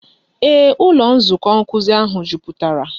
Ee, ụlọ nzukọ nkuzi ahụ jupụtara.